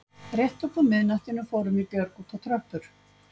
Rétt upp úr miðnættinu fórum við Björg út á tröppur